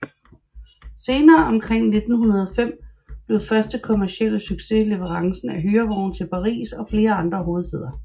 Senere omkring 1905 blev første store kommercielle succes leverancen af hyrevogne til Paris og flere andre hovedstæder